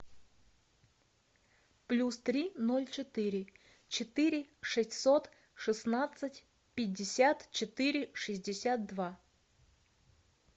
плюс три ноль четыре четыре шестьсот шестнадцать пятьдесят четыре шестьдесят два